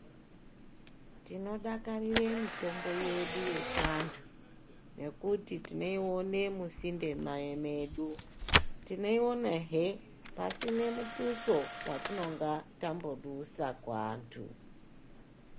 Tinodakarire mitombo yedu yechiantu ngekuti tinoione musinde medu. Tinoionahe pasina muthuso watinonga tambodusa kuantu.